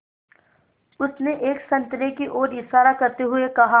उसने एक संतरे की ओर इशारा करते हुए कहा